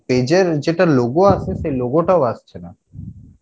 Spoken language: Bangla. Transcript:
page এর যেটা logo আসে সে logo টাও আসছে না